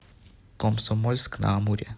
комсомольск на амуре